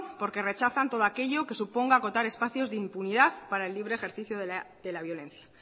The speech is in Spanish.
porque rechazan todo aquello que suponga acotar espacios de impunidad para el libre ejercicio de la violencia